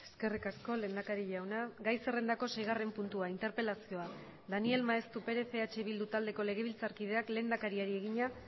eskerrik asko lehendakari jauna gai zerrendako seigarren puntua interpelazioa daniel maeztu perez eh bildu taldeko legebiltzarkideak lehendakariari egina